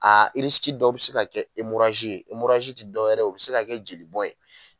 A irisiki dɔ be se ka kɛ emorazi ye emorazi ti dɔwɛrɛ ye o be se ka kɛ joli bɔn ye